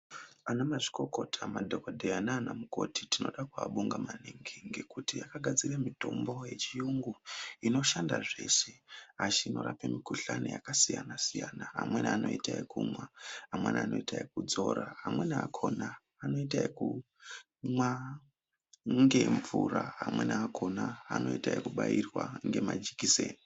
Ana mazvikokota, madhokodheya nana mukoti tinoda kuabonga maningi ngekuti vakagadzire mitombo yechiyungu inoshanda zveshe achinorape mukhuhlane yakasiyana siyana amweni anoita yekumwa amweni anoita yekudzora, amweni akona anoita ekumwa ngemvura amweni akona anoita yekubairwa ngemajekiseni.